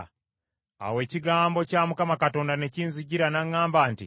Awo ekigambo kya Mukama Katonda ne kinzijira n’aŋŋamba nti,